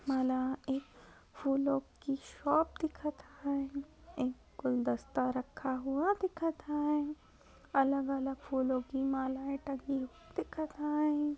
मला एक फुलो की शॉप दिखत हाई एक गुलदस्ता रखा हूआ दिखत हाई अलग-अलग फुलो की मालाये टगी हुई दिखत हाई.